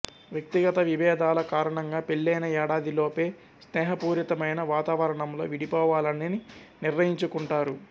వ్యక్తిగత విభేదాల కారణంగా పెళ్లైన ఏడాదిలోపే స్నేహపూరితమైన వాతావరణంలో విడిపోవాలని నిర్ణయించుకుంటారు